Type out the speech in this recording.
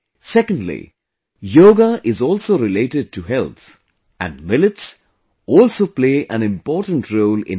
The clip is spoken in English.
Secondly, yoga is also related to health and millets also play an important role in health